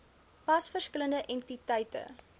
pas verskillende entiteite